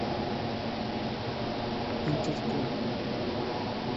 интертул